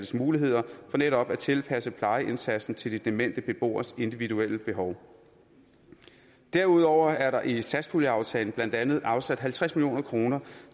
muligheder for netop at tilpasse plejeindsatsen til de demente beboeres individuelle behov derudover er der i satspuljeaftalen blandt andet afsat halvtreds million kroner